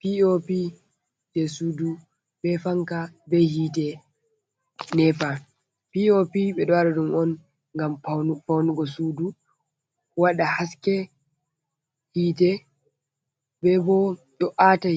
Pop je sudu be fanka be hite nepa, pop ɓeɗo waɗa ɗum on ngam faunugo sudu waɗa haske, hite be bo do Ata